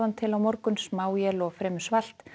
til á morgun smáél og fremur svalt